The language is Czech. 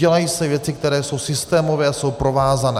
Dělají se věci, které jsou systémové a jsou provázané.